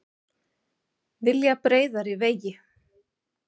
Vilja breiðari vegi